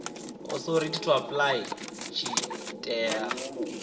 authority to apply tshi tea